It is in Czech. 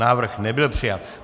Návrh nebyl přijat.